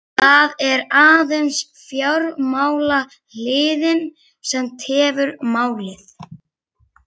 Það er aðeins fjármálahliðin, sem tefur málið.